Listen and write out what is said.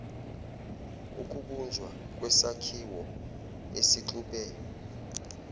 ukubunjwa kwesakhiwo esixube